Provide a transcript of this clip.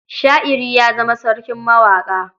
Sha'iri ya zama sarkin mawaƙa.